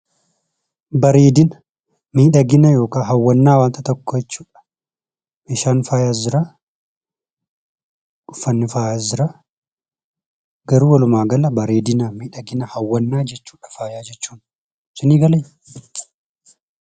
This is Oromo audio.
Bareedina, miidhagina yookaan hawwannaa wanta tokkoo jechuu dha. Meeshaan faayaas jiraa, uffanni faayaas jiraa, garuu walumaa gala bareedina, miidhagina, hawwannaa jechuudha faaya jechuun. Sinii galee?